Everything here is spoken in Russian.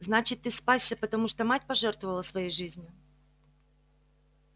значит ты спасся потому что мать пожертвовала своей жизнью